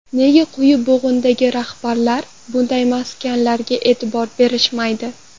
Nega quyi bo‘g‘indagi rahbarlar bunday maskanlarga e’tibor berishmaydi?